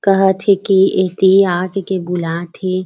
कहत हे के एती आ कइके बुलात हे।